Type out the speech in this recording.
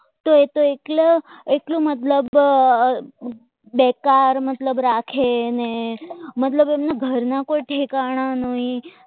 તો એ તો એટલો મતલબ બેકાર મતલબ રાખે એને મતલબ એમના ઘરના કોઈ ઠેકાણા નહીં